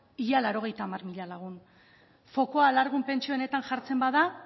ia laurogeita hamar mila lagun fokoa alargun pentsioetan jartzen bada